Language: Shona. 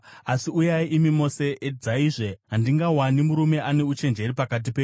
“Asi uyai, imi mose, edzaizve! Handingawani murume ane uchenjeri pakati penyu.